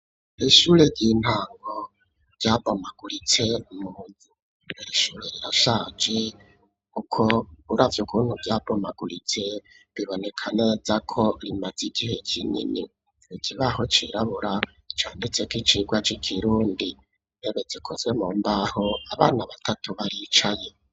Ishure ry'intango, ryabomaguritse mu nzu; iri shure rirashaje, kuko, uravye ukuntu ryabomaguritse, biboneka neza ko, rimaze igihe kinini; ikibaho cirabura, canditseko icigwa c'ikirundi; intebeze zikoze mu mbaho, abana batatu, baricaye.